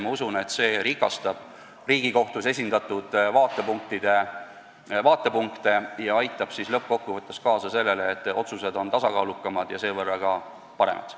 Ma usun, et see rikastab Riigikohtus esindatud vaatepunkte ja aitab lõppkokkuvõttes kaasa sellele, et kohtu otsused on tasakaalukamad ja seevõrra ka paremad.